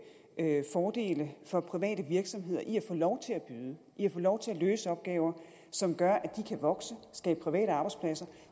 fordele for private virksomheder i at få lov til at byde i at få lov til at løse opgaver som gør at de kan vokse skabe private arbejdspladser